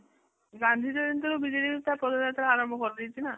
ଗାନ୍ଧୀଜୟନ୍ତୀରୁ ବିଜୁ ଜନତା ପଦଯାତ୍ରା ଆରମ୍ଭ କରିଦେଇଛି ନା ?